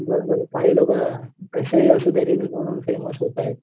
हां बरोबर आहे काही लोकं कशीही असुदे रिल्स बनवून फेमस होतायेत.